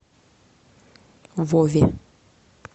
вове